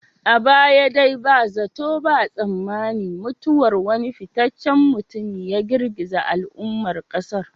A baya dai ba zato ba tsammani mutuwar wani fitaccen mutumi ya girgiza al'ummar kasar.